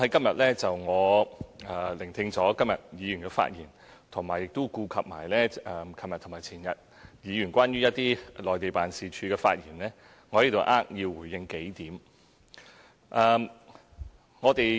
我在聆聽議員今天的發言後，並顧及昨天和前天議員就駐內地辦事處的發言，我在此扼要回應數點。